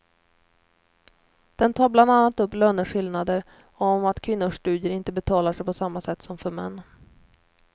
Den tar bland annat upp löneskillnader och om att kvinnors studier inte betalar sig på samma sätt som för män.